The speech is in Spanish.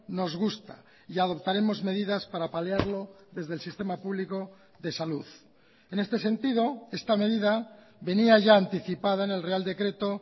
nos gusta y adoptaremos medidas para paliarlo desde el sistema público de salud en este sentido esta medida venía ya anticipada en el real decreto